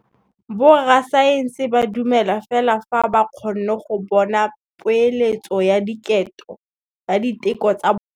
Borra saense ba dumela fela fa ba kgonne go bona poeletsô ya diteko tsa bone.